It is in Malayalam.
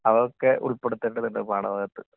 അതൊക്കെ ഉൾപ്പെടുത്തേണ്ടതുണ്ട് പാഠഭാഗത്ത്..